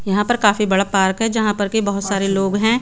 यहाँ पर काफी बड़ा पार्क है जहाँ पर के बहत सारा लोग है।